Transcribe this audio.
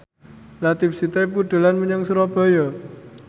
Latief Sitepu dolan menyang Surabaya